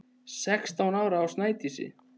Sextán ára á Sædísi.